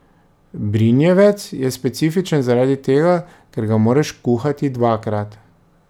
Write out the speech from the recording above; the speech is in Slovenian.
Brinjevec je specifičen zaradi tega, ker ga moraš kuhati dvakrat.